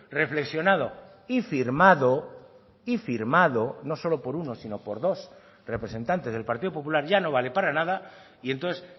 reflexionado y firmado y firmado no solo por uno sino por dos representantes del partido popular ya no vale para nada y entonces